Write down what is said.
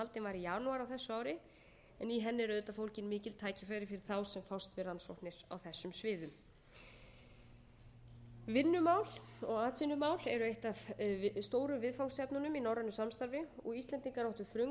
janúar á þessu ári en í henni eru auðvitað fólgin mikil tækifæri fyrir þá sem fást við rannsóknir á þessum sviðum vinnumál og atvinnumál eru eitt af stóru viðfangsefnunum í norrænu samstarfi og íslendingar áttu frumkvæði að